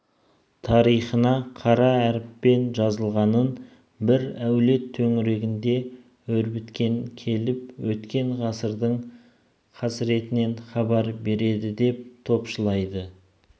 тарихына қара әріппен жазылғанын бір әулет төңірегінде өрбіткен келіп өткен ғасырдың қасіретінен хабар береді деп топшылайды